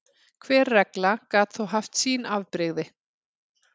Hver regla gat þó haft sín afbrigði.